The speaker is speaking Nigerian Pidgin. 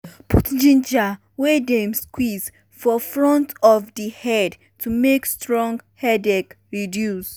put ginger wey dem squeeze for front of di head to make strong headache reduce.